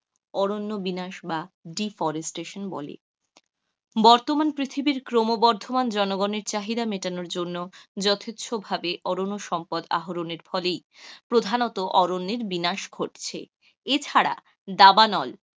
Deforestation বলে, বর্তমান পৃথিবীর ক্রমবর্ধমান চাহিদা মেটানোর জন্য যথেচ্ছভাবে অরণ্য সম্পদ আহরণের ফলেই প্রধানত অরণ্যের বিনাশ ঘটছে. এছাড়া দাবানল,